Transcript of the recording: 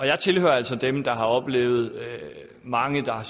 jeg tilhører altså dem der har oplevet mange der har